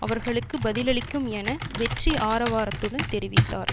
அவர்களுக்கு பதிலளிக்கும் என வெற்றி ஆரவாரத்துடன் தெரிவித்தார்